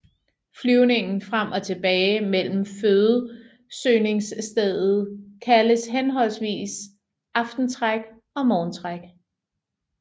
Flyvningen frem og tilbage mellem fødesøgningsstedet kaldes henholdsvis aftentræk og morgentræk